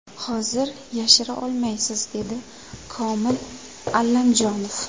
Hozir yashira olmaysiz”, dedi Komil Allamjonov.